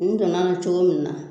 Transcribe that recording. N donn'a na cogo min na